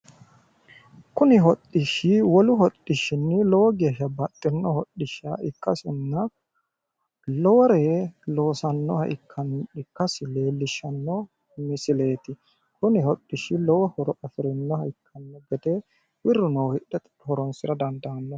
Kuni hodhishshi wolu hodhishshinni lowo geeshsha baxxinno hodhishsha ikkasinna lowore loosannoha ikkasi leellishshanno misileeti. Kuni hodhishshi lowo horo afirinnoha ikkanno gede birru noohu hidhe horonsira dandaanno.